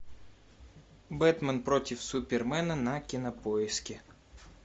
бэтмен против супермена на кинопоиске